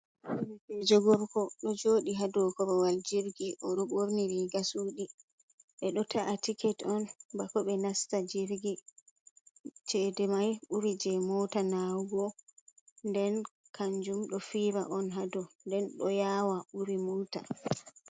bejo gorko do jodi hado korowal jirgi, odo borni riga sudi be do ta’a tiket on bako be nasta jirgi, chede mai buri je mota nawugo, nden kanjum do fira un ha dou, nden do yawa buri mota.